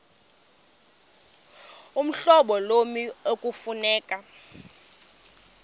uhlobo lommi ekufuneka